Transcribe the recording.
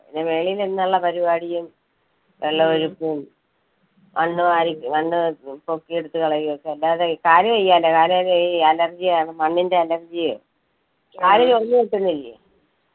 പിന്നെ വെളിയിൽ നിന്നുള്ള പരിപാടിയും, വെള്ളം ഒഴിപ്പും. മണ്ണ് വാരി മണ്ണ് പൊ~പൊക്കി എടുത്തു കളയലുമൊക്കെ അല്ലാതെ കാല് വയ്യാലോ കാലില് ഈ allergy ആണ് മണ്ണിന്റെ allergy യെ കാല് ചൊറിഞ്ഞു പൊട്ടുന്നില്ലേ.